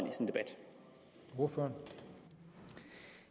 gå foran